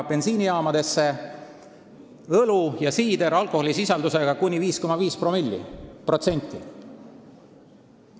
– bensiinijaamadesse õlu ja siider alkoholisisaldusega kuni 5,5%.